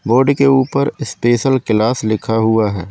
Board के ऊपर special class लिखा हुआ है।